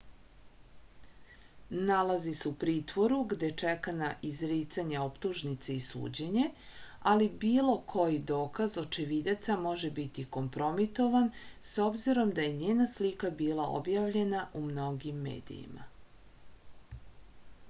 nalazi se u pritvoru gde čeka na izricanje optužnice i suđenje ali bilo koji dokaz očevidaca može biti kompromitovan s obzirom da je njena slika bila objavljena u mnogim medijima